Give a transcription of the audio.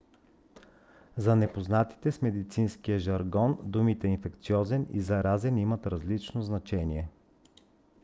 за незапознатите с медицинския жаргон думите инфекциозен и заразен имат различно значение